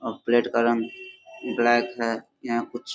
अ plate का रंग black है। यहां कुछ --